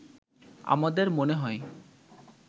“আমাদের মনে হয়